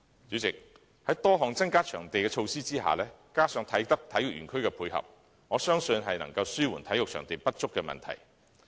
主席，在多項增加場地的措施下，加上啟德體育園區的配合，我相信能紓緩體育場地不足的問題。